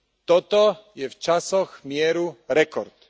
Toto je v časoch mieru rekord.